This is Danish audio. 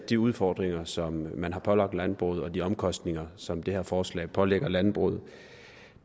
de udfordringer som man har skabt for landbruget og de omkostninger som det her forslag pålægger landbruget